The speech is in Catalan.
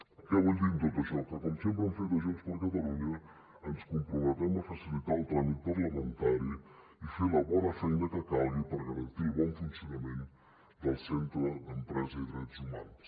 què vull dir amb tot això que com sempre hem fet a junts per catalunya ens comprometem a facilitar el tràmit parlamentari i fer la bona feina que calgui per garantir el bon funcionament del centre d’empresa i drets humans